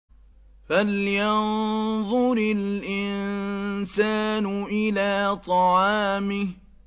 فَلْيَنظُرِ الْإِنسَانُ إِلَىٰ طَعَامِهِ